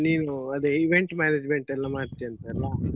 ನೀವು ಅದೇ event management ಎಲ್ಲ ಮಾಡ್ತಿಯಂತಲ್ಲ.